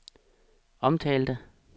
omtalte